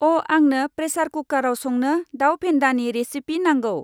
अआंनो प्रेसार कुकाराव संनो दाउ फेन्दानि रेसिपि नांगौ।